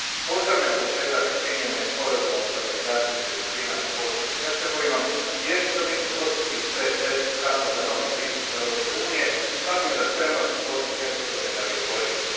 Pozdravljam početak primjene Sporazuma o stabilizaciji i pridruživanju s Bosnom i Hercegovinom, jer će to biti dvostruki stres test kako za novi pristup Europske unije tako i za spremnost Bosne i Hercegovine da ga iskoristi.